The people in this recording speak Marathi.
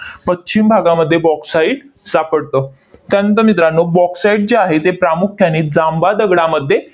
पश्चिम भागामध्ये bauxite सापडतं. त्यानंतर मित्रांनो, bauxite जे आहे ते प्रामुख्याने जांबा दगडामध्ये